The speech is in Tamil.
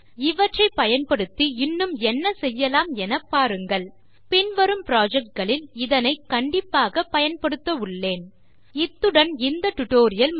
இவற்றை பயன்படுத்தி இன்னும் என்ன செய்யலாம் என பாருங்கள் பின்வரும் புரொஜெக்ட் களில் இதனை கண்டிப்பாக பயன்படுத்தவுள்ளேன் இத்துடன் இந்த டியூட்டோரியல் முடிகிறது